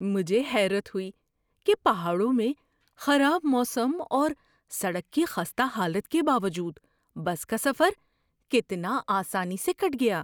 مجھے حیرت ہوئی کہ پہاڑوں میں خراب موسم اور سڑک کی خستہ حالت کے باوجود بس کا سفر کتنا آسانی سے کٹ گیا!